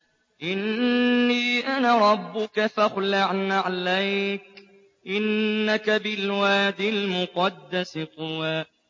إِنِّي أَنَا رَبُّكَ فَاخْلَعْ نَعْلَيْكَ ۖ إِنَّكَ بِالْوَادِ الْمُقَدَّسِ طُوًى